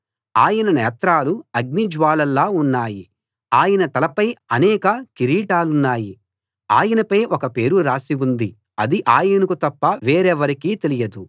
ఆయన నేత్రాలు అగ్నిజ్వాలల్లా ఉన్నాయి ఆయన తలపై అనేక కిరీటాలున్నాయి ఆయనపై ఒక పేరు రాసి ఉంది అది ఆయనకు తప్ప వేరెవరికీ తెలియదు